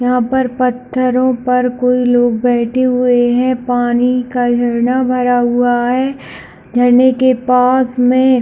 यहाँ पर पत्थरों पर कोई लोग बैठे हुए है पानी का झरना भरा हुआ है झरने के पास मे --